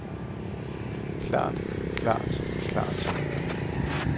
klart klart klart